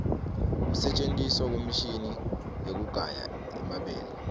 kusentjentiswa kwemishini wekugaya emabele